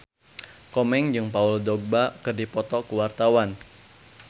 Komeng jeung Paul Dogba keur dipoto ku wartawan